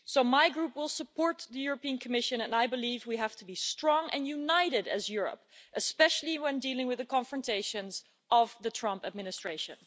My group will support the European Commission, and I believe we have to be strong and united as Europe, especially when dealing with the confrontations of the Trump administration.